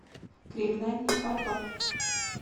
криминальный папа